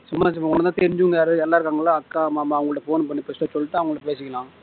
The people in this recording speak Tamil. சும்மா உனக்கு தெரிஞ்சவங்க யாராவது அக்கா மாமா அவங்களோட phone பண்ணி first சொல்லிட்டு அவங்க கிட்ட பேசிக்கலாம்